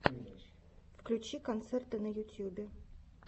включи концерты на ютьюбе